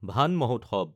ভান মহোৎসৱ (forest day)